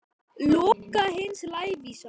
Loka hins lævísa.